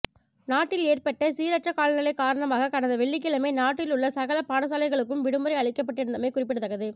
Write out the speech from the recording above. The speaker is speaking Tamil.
நாட்டில் ஏற்பட்ட சீரற்ற காலநிலை காரணமாக கடந்த வெள்ளிக்கிழமை நாட்டிலுள்ள சகல பாடசாலைகளுக்கும் விடுமுறை அளிக்கப்பட்டிருந்தமை குறிப்பிடத்தக்கது